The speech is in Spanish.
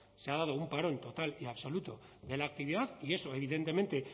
se ha dado un parón total y absoluto de la actividad y eso evidentemente